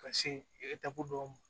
Ka se e dɔw ma